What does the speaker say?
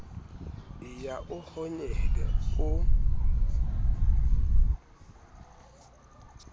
e ya e honyela o